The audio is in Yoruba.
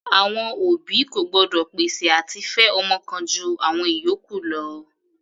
Àwọn òbí kò gbọ́dọ̀ pèsè àti fẹ ọmọ kan ju àwọn ìyókù lọ.